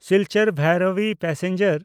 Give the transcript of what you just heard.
Silchar Bhairabi passenger